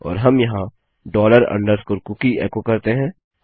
और हम यहाँ डॉलर अंडरस्कोर कूकी एको करते हैं